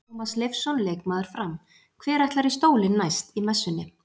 Tómas Leifsson leikmaður Fram: Hver ætlar í stólinn næst í Messunni?